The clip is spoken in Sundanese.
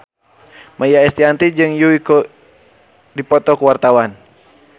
Maia Estianty jeung Yui keur dipoto ku wartawan